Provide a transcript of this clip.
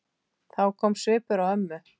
Þá kom svipur á ömmu.